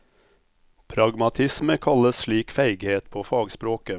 Pragmatisme kalles slik feighet på fagspråket.